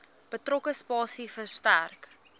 betrokke spasie verstrek